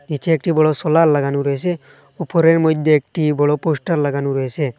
নিচে একটি বড় সোলার লাগানো রয়েছে উপরের মইধ্যে একটি বড় পোস্টার লাগানো রয়েছে।